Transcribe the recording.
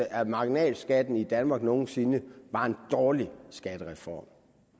af marginalskatten i danmark nogen sinde var en dårlig skattereform